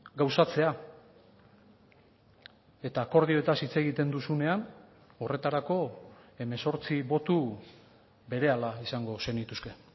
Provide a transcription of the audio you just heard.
gauzatzea eta akordioetaz hitz egiten duzunean horretarako hemezortzi boto berehala izango zenituzke